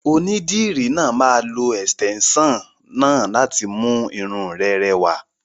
Onídìrí náà máa lo ẹ̀sìtẹ́nson náà láti mú irun rẹ rẹwà.